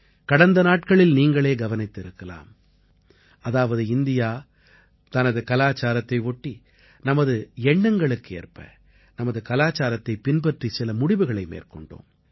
கடந்த நாட்களில் நீங்களே கவனித்திருக்கலாம் அதாவது இந்தியா தனது கலாச்சாரத்தை ஒட்டி நமது எண்ணங்களுக்கு ஏற்ப நமது கலாச்சாரத்தைப் பின்பற்றி சில முடிவுகளை மேற்கொண்டோம்